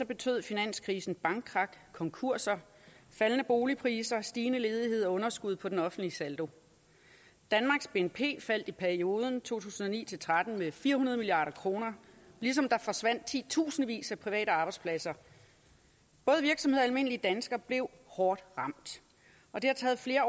betød finanskrisen bankkrak konkurser faldende boligpriser stigende ledighed og underskud på den offentlige saldo danmarks bnp faldt i perioden to tusind og ni til tretten med fire hundrede milliard kr ligesom der forsvandt titusindvis af private arbejdspladser både virksomheder og almindelige danskere blev hårdt ramt og det har taget flere